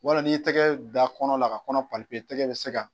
Wala n'i tɛgɛ da kɔnɔ la ka kɔnɔ tɛgɛ bɛ se ka